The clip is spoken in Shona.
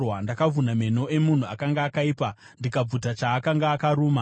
Ndakavhuna meno emunhu akanga akaipa, ndikabvuta chaakanga akaruma.